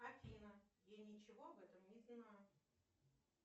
афина я ничего об этом не знаю